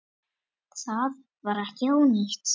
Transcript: Það var ekki ónýtt.